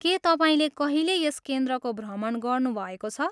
के तपाईँले कहिले यस क्रेन्द्रको भ्रमण गर्नुभएको छ?